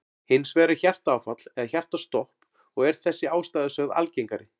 Hins vegar er hjartaáfall eða hjartastopp og er þessi ástæða sögð algengari.